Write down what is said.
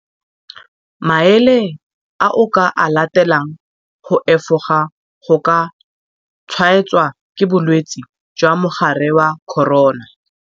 Maele a o ka a latelang go efoga go ka tshwaetswa ke bolwetse jwa mogare wa corona.